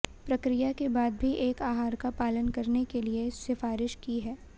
प्रक्रिया के बाद भी एक आहार का पालन करने के लिए सिफारिश की है